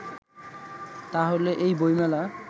তাহলে এই বইমেলা